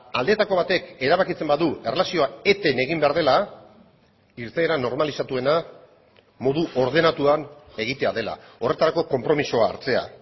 aldeetako batek erabakitzen badu erlazioa eten egin behar dela irteera normalizatuena modu ordenatuan egitea dela horretarako konpromisoa hartzea